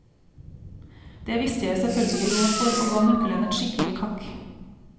Det viste jeg selvfølgelig råd for, og ga nøkkelen et skikkelig kakk.